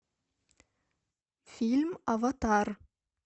фильм аватар